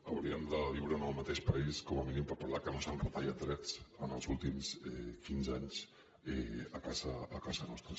hauríem de viure en el mateix país com a mínim per parlar que no s’han retallat drets en els últims quinze anys a casa nostra